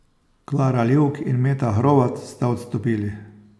Klara Livk in Meta Hrovat sta odstopili.